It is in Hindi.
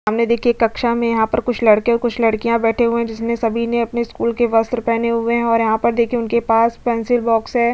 सामने देखिये कक्षा में यहाँ पर कुछ लडके और कुछ लडकिया बैठे हुए है जिसमे सभी ने अपने स्कूल का वस्त्र पहने हुए है और यहाँ पर देखिये उनके पास पेन्सिल बॉक्स है।